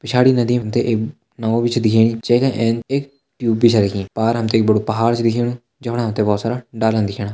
पिछाड़ी नदी हमते एक नावा बि छ दिखेणी जेगा ऐंच एक ट्यूब बि छ रखीं। पार हमते एक बडु पहाड़ च दिखेणु जख फण हमते बोहोत सारा डालन दिखेणा।